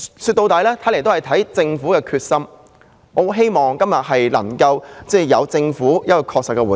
說到底，一切視乎政府的決心，我希望政府今天就能給予確切的回應。